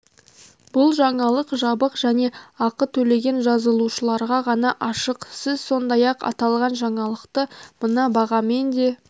бұл жаңалық жабық және ақы төлеген жазылушыларға ғана ашық сіз сондай-ақ аталған жаңалықты мына бағамен де